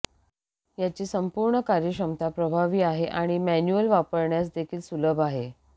याची संपूर्ण कार्यक्षमता प्रभावी आहे आणि मॅन्युअल वापरण्यास देखील सुलभ आहे